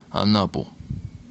анапу